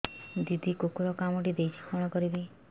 ଦିଦି କୁକୁର କାମୁଡି ଦେଇଛି କଣ କରିବି